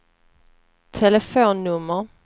telefonnummer